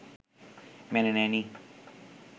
মেনে নেয়নি